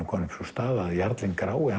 að jarlinn grái